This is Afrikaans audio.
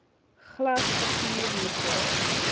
glas papier metaal